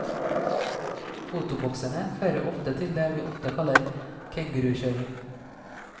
Fotoboksene fører ofte til det vi ofte kaller kengurukjøring.